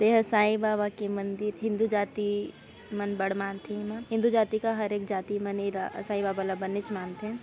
ये ह साईं बाबा के मंदिर-- हिंदू जाति मन बढ़ मानथे एलाहिंदू जाति का हर एक जाति मन एला साईं बाबा ल बनेच मानथे।